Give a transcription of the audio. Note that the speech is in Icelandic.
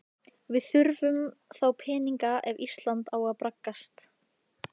Við þurfum þá peninga ef Ísland á að braggast.